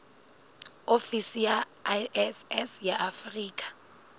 ofisi ya iss ya afrika